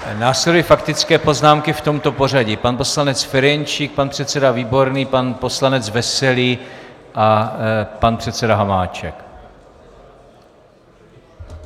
Následují faktické poznámky v tomto pořadí: pan poslanec Ferjenčík, pan předseda Výborný, pan poslanec Veselý a pan předseda Hamáček.